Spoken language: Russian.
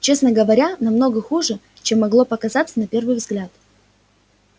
честно говоря намного хуже чем могло показаться на первый взгляд